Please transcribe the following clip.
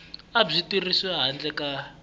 a byi tirhisiwi handle ka